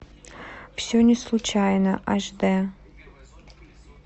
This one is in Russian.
все не случайно аш дэ